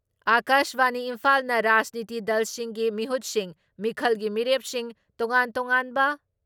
ꯑꯀꯥꯁꯕꯥꯅꯤ ꯏꯝꯐꯥꯜꯅ ꯔꯥꯖꯅꯤꯇꯤ ꯗꯜꯁꯤꯡꯒꯤ ꯃꯤꯍꯨꯠꯁꯤꯡ, ꯃꯤꯈꯜꯒꯤ ꯃꯤꯔꯦꯞꯁꯤꯡ, ꯇꯣꯉꯥꯟ ꯇꯣꯉꯥꯟꯕ